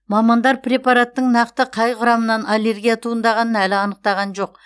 мамандар препараттың нақты қай құрамынан аллергия туындағанын әлі анықтаған жоқ